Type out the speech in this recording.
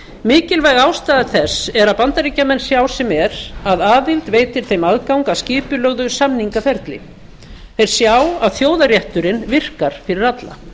mikilvæg ástæða þess er að bandaríkjamenn sjá sem er að aðild veitir þeim aðgang að skipulögðu samningaferli þeir sjá að þjóðarétturinn virkar fyrir alla